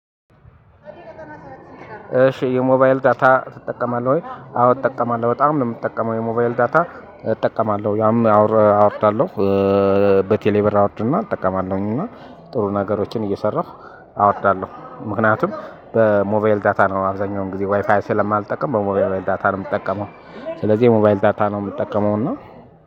እሺ የሞባይል ዳታ ትጠቀማለህ ወይ? አዎ እጠቀማለሁ በጣም ነው የምጠቀመው የሞባይል ዳታ እጠቀማለሁ ያም አወርዳለሁ። በቴሌብር አወርድና እጠቀማለሁኝ እና ጥሩ ነገሮችን እየሰራሁ አወርዳለሁ። ምክንያቱም በሞባይል ዳታ ነው አብዛኛውን ጊዜ ዋይፋይ ስለማልጠቀም በሞባይል ዳታ ነው የምጠቀመው። ስለዚህ የሞባይል ዳታ ነው የምጠቀመው እና